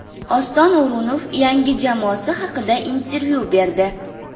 Oston O‘runov yangi jamoasi haqida intervyu berdi.